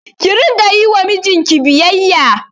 Ki Rika Yi wa mijinki biyayya